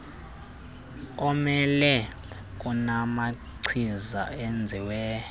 omelele kunamachiza enzelwe